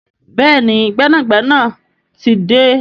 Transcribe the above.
Béèni gbénàgbénà tí dé.